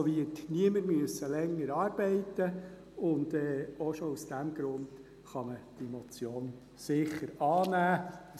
Also wird niemand länger arbeiten müssen, und auch schon aus diesem Grund kann man diese Motion sicher annehmen.